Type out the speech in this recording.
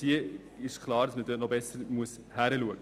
Es ist klar – diese müssen noch genauer betrachtet werden.